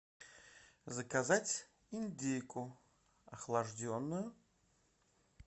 заказать индейку охлажденную